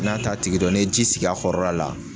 N'a t'a tigi dɔn n'e ye ji sigi a kɔrɔla la